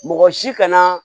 Mɔgɔ si kana